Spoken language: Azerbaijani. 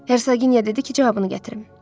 Hersoqinya dedi ki, cavabını gətirim.